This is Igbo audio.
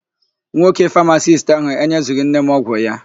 Nwoke famasisti áhụ̀ enyezughị nne m ọgwụ ya.